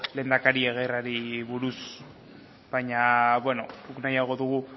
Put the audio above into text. lehendakari aguirreri buruz baina beno guk nahiago dugu